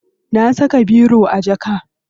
Na saka biro a jaka.